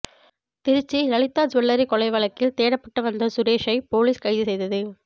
Trichy Lalitha jewellery கொள்ளை வழக்கில் தேடப்பட்டு வந்த சுரேஷை போலீஸ் கைது செய்தது